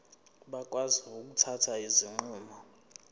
bakwazi ukuthatha izinqumo